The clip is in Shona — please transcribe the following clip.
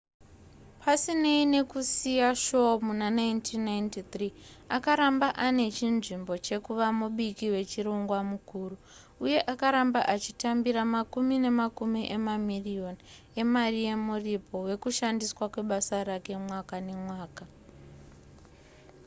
pasinei nekusiya shoo muna 1993 akaramba ane chinzvimbo chekuva mubiki wechirongwa mukuru uye akaramba achitambira makumi nemakumi emamiriyoni emari yemuripo wekushandiswa kwebasa rake mwaka nemwaka